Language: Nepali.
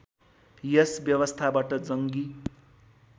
यस व्यवस्थाबाट जङ्गी